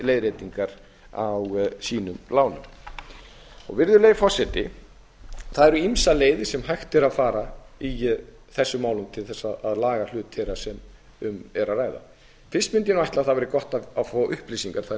leiðréttingar á sínum lánum virðulegi forseti það eru ýmsar leiðir sem hægt er að fara í þessum lánum til að laga hlut þeirra sem um er að ræða fyrst mundi ég ætla að það væri gott að fá upplýsingar þannig